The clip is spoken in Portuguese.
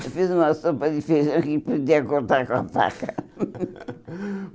Eu fiz uma sopa de feijão que podia cortar com a faca.